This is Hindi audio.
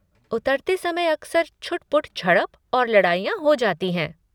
उतरते समय अक्सर छुटपुट झड़प और लड़ाइयाँ हो जाती हैं।